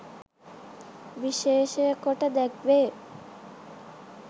විශේෂකොට දැක්වේ.